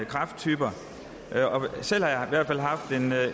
kræfttyper selv har jeg